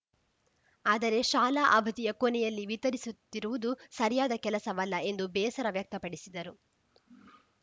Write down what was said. ಆದರೆ ಶಾಲಾ ಅವಧಿಯ ಕೊನೆಯಲ್ಲಿ ವಿತರಿಸುತ್ತಿರುವುದು ಸರಿಯಾದ ಕೆಲಸವಲ್ಲ ಎಂದು ಬೇಸರ ವ್ಯಕ್ತಪಡಿಸಿದರು